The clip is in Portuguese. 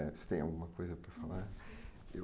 Você tem alguma coisa para falar?